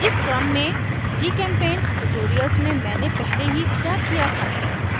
इस क्रम में gchempaint tutorials में मैंने पहले ही विचार किया था